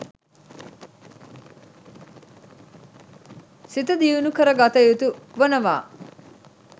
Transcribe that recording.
සිත දියුණු කර ගත යුතු වනවා